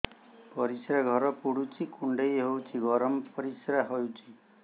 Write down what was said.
ପରିସ୍ରା ଘର ପୁଡୁଚି କୁଣ୍ଡେଇ ହଉଚି ଗରମ ପରିସ୍ରା ହଉଚି